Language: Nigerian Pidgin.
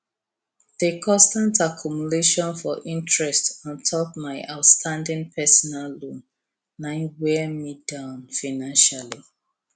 di constant accumulation for interest on top mai outstanding personal loan na wear me down financially